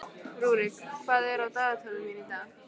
Rúrik, hvað er á dagatalinu mínu í dag?